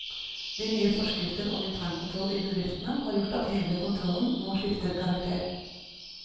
De nye forskrifter om internkontroll i bedriftene har gjort at hele kontrollen nå skifter karakter.